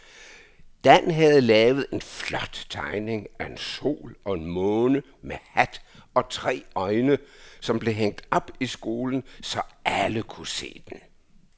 Dan havde lavet en flot tegning af en sol og en måne med hat og tre øjne, som blev hængt op i skolen, så alle kunne se den.